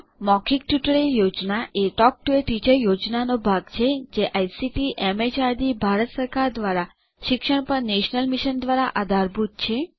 મૌખિક tutorial project a talk to a teacher પ્રોજેક્ટનો ભાગ છે જે આઇસીટીએમએચઆરડીભારત સરકાર દ્વારા શિક્ષણ પર નેશનલ મિશન દ્વારા આધારભૂત છે